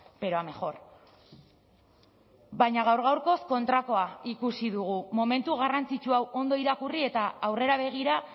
pero a mejor baina gaur gaurkoz kontrakoa ikusi dugu momentu garrantzitsu hau ondo irakurri eta aurrera begira